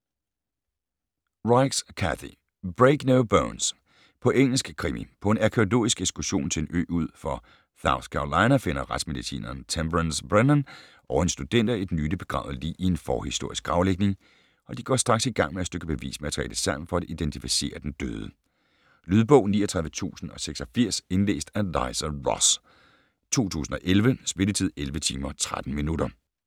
Reichs, Kathy: Break no bones På engelsk. Krimi. På en arkæologisk ekskursion til en ø ud for South Carolina finder retsmedicineren Temperance Brennan og hendes studenter et nylig begravet lig i en forhistorisk gravlægning, og de går straks i gang med at stykke bevismateriale sammen for at identificere den døde. Lydbog 39086 Indlæst af Liza Ross, 2011. Spilletid: 11 timer, 13 minutter.